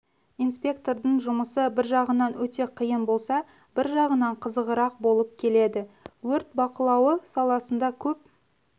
инспектордың жұмысы бір жағынан өте қиын болса бір жағынан қызығырақ болып келеді өрт бақылауы саласында көп